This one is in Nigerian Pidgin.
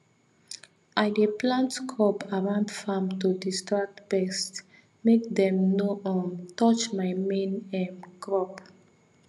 i dey plant crop around farm to distract pest make dem no um touch my main um crop